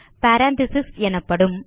parenthesis எனப்படும்